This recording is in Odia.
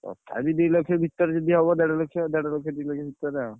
ତଥାପି ଦି ଲକ୍ଷ ଭିତରେ ଯଦି ହବ ଦେଢ ଲକ୍ଷ ଦେଢ ଲକ୍ଷ ଦି ଲକ୍ଷ ଭିତରେ ଆଉ।